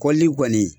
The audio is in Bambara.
Kɔlili kɔni